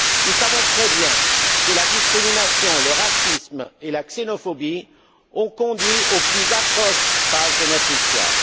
Nous savons très bien que la discrimination, le racisme et la xénophobie ont conduit aux plus atroces pages de notre histoire.